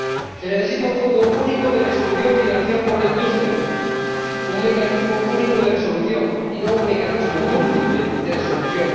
Se necesitan un Fondo Único de Resolución financiado por la industria y un Mecanismo Único de Resolución, y no un mecanismo múltiple de resolución.